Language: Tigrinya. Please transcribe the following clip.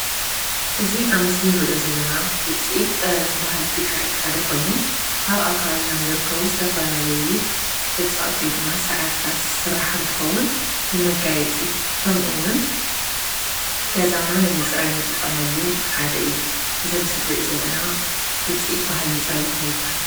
እዚ ኣብ ምስሊ ንሪኦ ዘለና ውፅኢት ጠበብን ባህሊ ትግራይ ሓደ ኾይኑ ካብ ኣብ ኣካባቢና ዝርከቡ ዝተፈላለዩ እፅዋት ወይ ድማ ሳዕርታት ዝስራሕ እንትኸውን ንመጋየፂ ከምኡውን ገዛና ንምፅራይ ንጥቀመሉ ሓደ እዩ፡፡ እዚ ኣብ ምስሊ ንሪኦ ዘለና ውፅኢት ባህልን ጥበብን እንታይ ይበሃል?